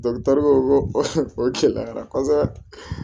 o gɛlɛyara kosɛbɛ